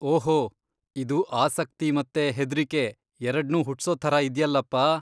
ಓಹೋ, ಇದು ಆಸಕ್ತಿ ಮತ್ತೆ ಹೆದ್ರಿಕೆ ಎರ್ಡ್ನೂ ಹುಟ್ಸೋ ಥರ ಇದ್ಯಲ್ಲಪ್ಪಾ.